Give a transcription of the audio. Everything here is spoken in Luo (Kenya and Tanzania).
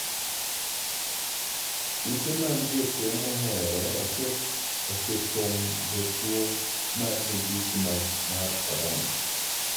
Ute mag jotuo moheore osepong'o jotuo mag midhusi mar Corona.